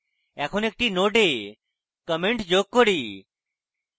এখন একটি nodes comment যোগ করি